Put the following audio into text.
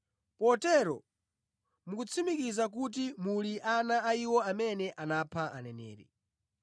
Potero mukutsimikiza kuti muli ana a iwo amene anapha aneneri.